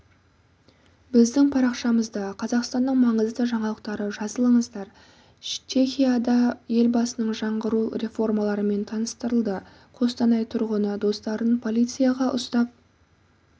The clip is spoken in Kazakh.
біздің парақшамызда қазақстанның маңызды жаңалықтары жазылыңыздар чехияда елбасының жаңғыру реформаларымен таныстырылды қостанай тұрғыны достарын полицияға ұстап